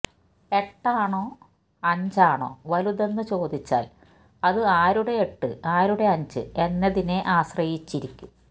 എട്ടാണോ അഞ്ചാണോ വലുതെന്ന് ചോദിച്ചാൽ അത് ആരുടെ എട്ട് ആരുടെ അഞ്ച് എന്നതിനെ ആശ്രയിച്ചിരിക്കും